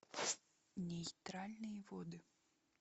нейтральные воды